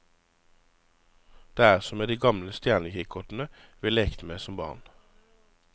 Det er som med de gamle stjernekikkertene vi lekte med som barn.